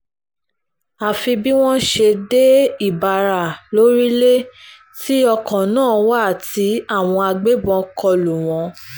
àfi bí wọ́n ṣe dé ìbára-orílẹ̀ tí ọkọ̀ náà wà tí àwọn agbébọ̀n kọ lù wọ́n